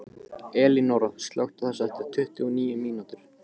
Elinóra, slökktu á þessu eftir tuttugu og níu mínútur.